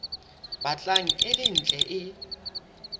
batlang e le ntle e